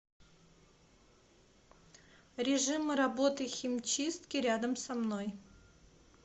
режим работы химчистки рядом со мной